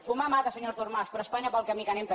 fumar mata senyor artur mas però espanya pel camí que anem també